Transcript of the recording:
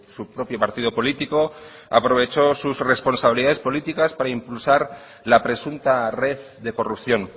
su propio partido político aprovechó sus responsabilidades políticas para impulsar la presunta red de corrupción